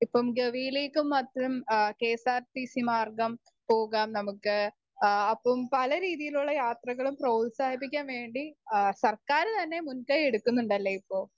Speaker 1 ഇപ്പം ഗവിയിലേക്കും മറ്റും ആ കെഎസ്ആർറ്റിസി മാർഗം പോകാം നമുക്ക് ആഹ് അപ്പം പലരീതിയിലുള്ള യാത്രകളും പ്രോത്സാഹിപ്പിക്കാൻ വേണ്ടി ആ സർക്കാർ തന്നെ മുന്കയ്യെടുക്കുന്നുണ്ടല്ലേ ഇപ്പൊ?